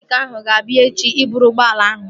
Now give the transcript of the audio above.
Mekaniiki ahụ ga-abịa ebea echi ịbụrụ ụgbọala ahụ